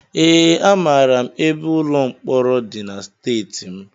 Ee, amara m ebe ụlọ mkpọrọ dị na steeti m